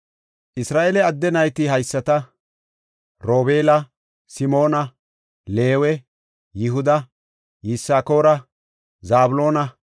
Isra7eele adde nayti haysata; Robeela, Simoona, Leewe, Yihuda, Yisakoora, Zabloona,